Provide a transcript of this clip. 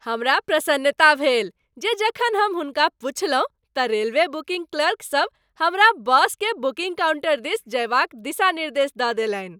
हमरा प्रसन्नता भेल जे जखन हम हुनका पुछलहुँ तँ रेलवे बुकिङ्ग क्लर्कसभ हमरा बसके बुकिङ्ग काउण्टर दिस जयबाक दिशा निर्देश दऽ देलनि।